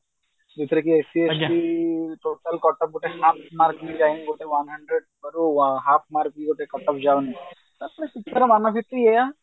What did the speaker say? ଯୋଉଥିରେ କି ST SC total କଟକ ଗୋଟେ ଗୋଟେ one hundred ରୁ half mark ଗୋଟେ କଟକ ଯାଉନି ମନଭିତ୍ତି ଏଇଆ